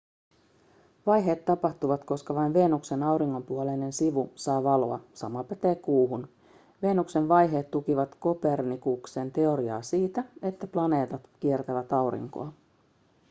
vaiheet tapahtuvat koska vain venuksen auringonpuoleinen sivu saa valoa sama pätee kuuhun. venuksen vaiheet tukivat kopernikuksen teoriaa siitä että planeetat kiertävät aurinkoa